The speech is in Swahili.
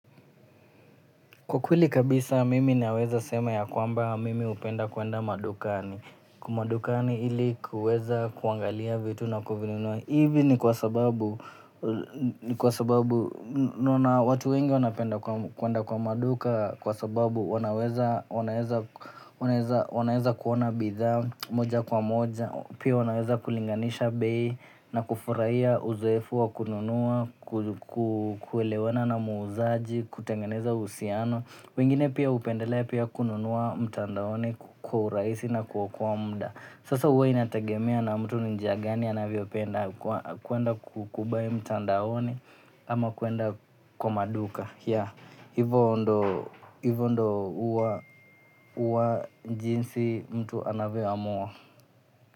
Kwa kweli kabisa mimi naweza sema ya kwamba mimi hupenda kwenda madukani. Madukani ili kuweza kuangalia vitu na kuvinunua. Hivi ni kwa sababu, ni kwa sababu naona watu wengi wanapenda kwenda kwa maduka kwa sababu wanaweza, wanaeza, wanaweza kuona bidhaa moja kwa moja. Pia wanaweza kulinganisha beyi na kufurahia uzoefu wa kununua, kuelewana na muuzaji, kutengeneza uhisiano. Wengine pia hupendelea pia kununua mtandaoni wa uraisi na kuokoa mda. Sasa huwa inategemea na mtu ni njia gani anavyo penda kuenda kubuy mtandaoni ama kuenda kwa maduka. Yeah, hivyo ndo uwa uwa jinsi mtu anavyo amua.